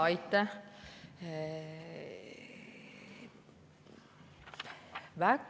Aitäh!